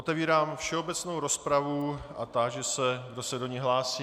Otevírám všeobecnou rozpravu a táži se, kdo se do ní hlásí.